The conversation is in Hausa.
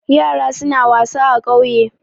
Yara suna wasa a ƙauye.